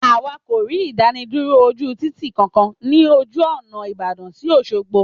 Àwa kò rí ìdánidúró ojú Títì kan kan ni ojú ònà ìbàdàn sí Òṣogbo